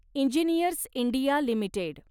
engineers India limited